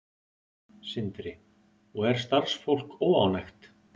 Sindri: Og er starfsfólk óánægt?